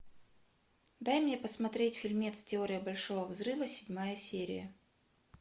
дай мне посмотреть фильмец теория большого взрыва седьмая серия